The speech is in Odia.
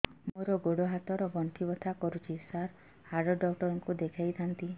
ମୋର ଗୋଡ ହାତ ର ଗଣ୍ଠି ବଥା କରୁଛି ସାର ହାଡ଼ ଡାକ୍ତର ଙ୍କୁ ଦେଖାଇ ଥାନ୍ତି